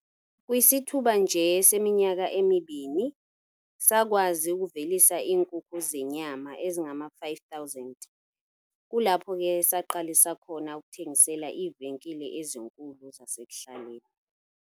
"Kwisithuba nje seminyaka emibini, sakwazi ukuvelisa iinkukhu zenyama ezingama-5 000, kulapho ke saqalisa khona ukuthengisela iivenkile ezinkulu zasekuhlaleni."